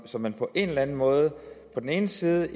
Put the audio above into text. så man på en eller anden måde på den ene side